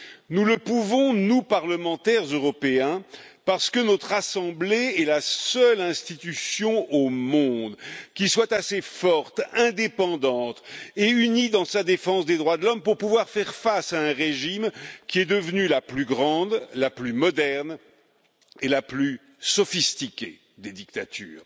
Nous le pouvons, nous, parlementaires européens, parce que notre assemblée est la seule institution au monde qui soit assez forte, indépendante et unie dans sa défense des droits de l'homme pour pouvoir faire face à un régime qui est devenu la plus grande, la plus moderne et la plus sophistiquée des dictatures.